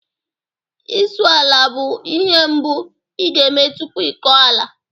Isụ ala bụ ihe mbụ ị ga-eme tupu ịkọ ala